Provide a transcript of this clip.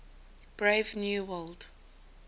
brave new world